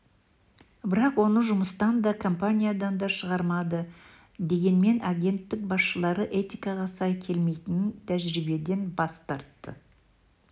бірақ оны жұмыстан да компаниядан да шығармады дегенмен агенттік басшылары этикаға сай келмейтін тәжірибеден бас тартты